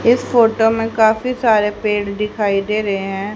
इस फोटो में काफी सारे पेड़ दिखाई दे रहे हैं।